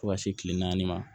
Fo ka se kile naani ma